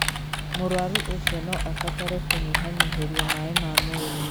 Mũrwaru ũcio no abatare kũnyihanyihĩrio maĩ ma mwĩrĩ.